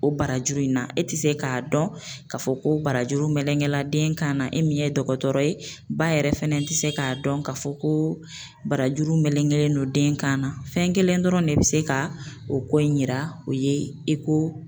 O barajuru in na, e ti se k'a dɔn, k'a fɔ ko barajuru melegen la den kan na, e min ye dɔkɔtɔrɔ ye, ba yɛrɛ fɛnɛ ti se k'a dɔn k'a fɔ ko barajuru melegelen don den kan na fɛn kelen dɔrɔn de bi se ka o ko in yira o ye